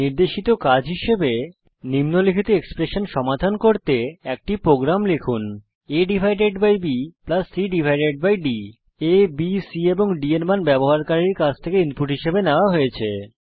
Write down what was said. নির্দেশিত কাজ হিসাবে নিম্নলিখিত এক্সপ্রেশন সমাধান করতে একটি প্রোগ্রাম লিখুন aবি cডি abসি এবং d এর মান ব্যবহারকারীর কাছ থেকে ইনপুট হিসেবে নেওয়া হয়েছে